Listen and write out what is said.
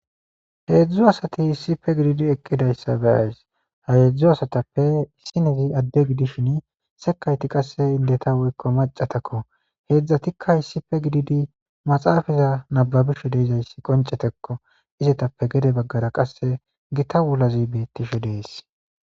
heedzdzu asati issipe gididi eqidayssa beyays ha yeedzdzu asatappe isinezi adde gidishin sekayti qasse indeta woykko macatakko heedzdzatikka issipe gididi maxaafaza nababishe deezayssi qoncetekko izetappe gede baggara qasse gita wulazi beettishe dees